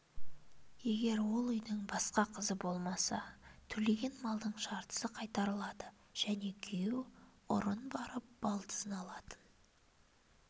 егер ол үйдің басқа қызы болмаса төлеген малдың жартысы қайтарылады және күйеу ұрын барып балдызын алатын